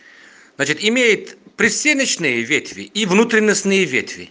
значит имеет пристеночные ветви и внутренностные ветви